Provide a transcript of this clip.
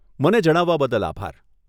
મને જણાવવા બદલ આભાર.